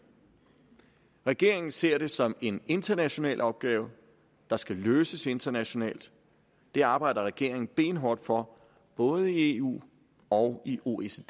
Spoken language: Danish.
regeringen ser det som en international opgave der skal løses internationalt det arbejder regeringen benhårdt for både i eu og i oecd